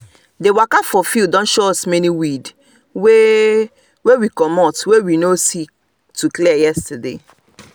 the waka for field don show us many weed wey wey comot wey we no see to clear yesterday